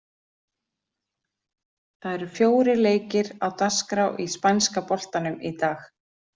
Það eru fjórir leikir á dagskrá í spænska boltanum í dag.